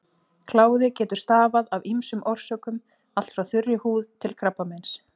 Kláði getur stafað af ýmsum orsökum, allt frá þurri húð til krabbameins.